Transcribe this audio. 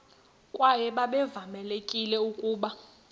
kwaye babevamelekile ukuba